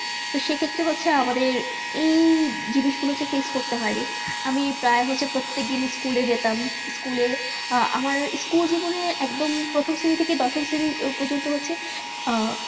সেই ক্ষেত্রে হচ্ছে আমাদের যেই জিনিস গুলু ফেস করতে হয়ে নি আমি প্রায় হলে আমি প্রত্যেক দিন স্কুলে যেতাম স্কুলে আমার স্কুলে জীবনের একদম প্রথম শ্রেণী থেকে দশম শ্রেণী প্রজন্ত হচ্ছে